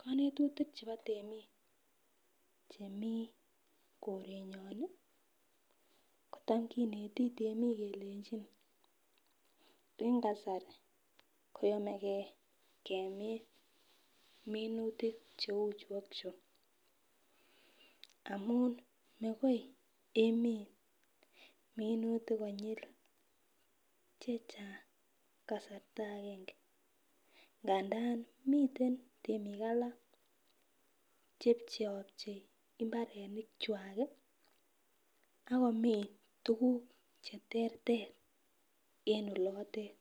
Konetutik chebo temik chemii korenyon nii kotam kineti temik kelenjin en kasari ko yomegee kemin minutik cheu chu ak chuu amun makoi imin minutik konyil chechang kasarta agenge ngandan miten temik ala che pcheopchei imbarenik kwak kii ak komin tukuk cheterter en olotet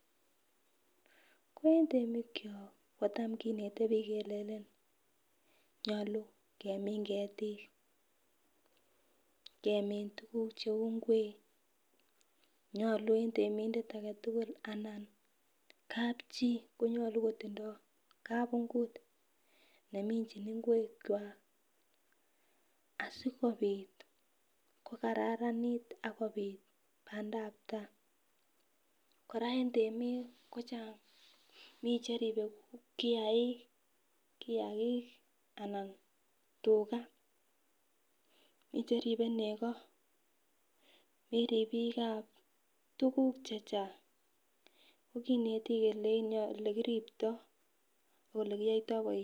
ko en temik kyok kotam kinete bik kelelen nyolu kemin ketik kemin tukuk cheu ingwek, nyolu en temindet agetutuk anan kapchii konyolu kotindo kabungut neminchin ingwek kwak asikopit ko kararanit ak kopit pandap tai. koraa en temik kochang mii cheribe kiyagik anan tugaa, mii cheribe neko mii ripikab tukuk chechang ko kinetin yekiripto ak olekiyoito bois.